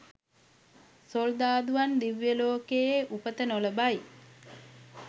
සොල්දාදුවන් දිව්‍යලෝකයේ උපත නොලබයි.